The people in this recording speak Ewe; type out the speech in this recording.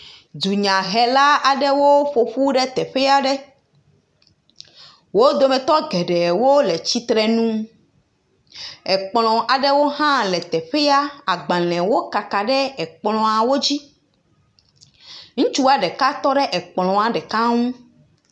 Dunyahela aɖewo ƒoƒu ɖe teƒe aɖe. Wo dometɔ geɖewo le tsitre ŋu. Ekplɔ aɖewo hã le teƒea. Agbalẽ wo kaka ɖe ekplɔawò dzi. Ŋutsua ɖeka tɔ ɖe ekplɔ nu